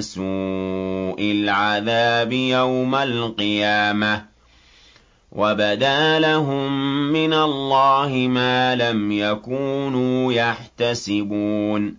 سُوءِ الْعَذَابِ يَوْمَ الْقِيَامَةِ ۚ وَبَدَا لَهُم مِّنَ اللَّهِ مَا لَمْ يَكُونُوا يَحْتَسِبُونَ